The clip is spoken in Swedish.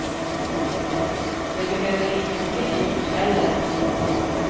Det behöver inte bli dyrt heller.